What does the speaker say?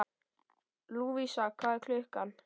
Lúvísa, hvað er klukkan?